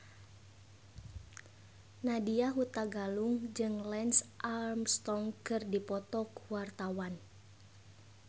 Nadya Hutagalung jeung Lance Armstrong keur dipoto ku wartawan